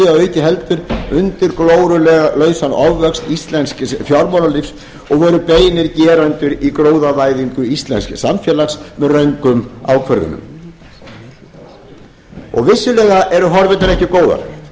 auki heldur undir glórulausan ofvöxt íslensks fjármálalífs og voru beinir gerendur í gróðavæðingu íslensks samfélags með röngum ákvörðunum vissulega eru horfurnar ekki góðar því